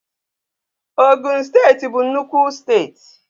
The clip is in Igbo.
Ogun steeti bụ nnukwu steeti